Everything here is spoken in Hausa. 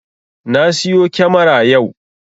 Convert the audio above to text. Na siyo kyamara yau